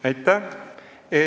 Aitäh!